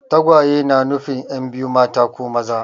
Tagwaye na nufin yan' biyu mata ko maza.